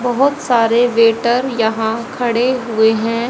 बहोत सारे वेटर यहां खड़े हुए हैं।